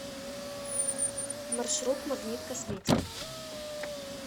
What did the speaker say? маршрут магнит косметик